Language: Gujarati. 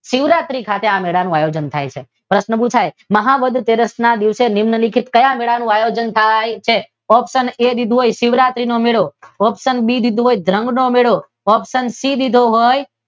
શિવરાત્રી ખાતે આ મેળાનું આયોજન થાય છે તો આપણને પૂછે મહા વદ તેરસ ના દિવસે નિમ્નલિખિત ક્યાં મેળાનું આયોજન થાય છે? ઓપ્શન એ શિવરાત્રી નો મેળો, ઓપ્શન બી દીધું હોય જાંગ નો મેળો, ઓપ્શન સી દીધું હોય કે